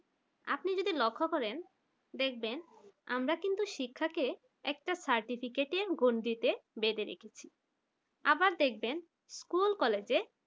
আপনি যদি লক্ষ্য করেন দেখবেন আমরা কিন্তু শিক্ষাকে একটা certificate গন্ডিতে বেঁধে রেখেছি আবার দেখবেন school college